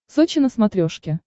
сочи на смотрешке